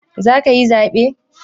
Za ka yi zaɓe?